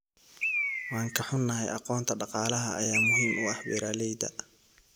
Waan ka xunnahay, aqoonta dhaqaalaha ayaa muhiim u ah beeralayda.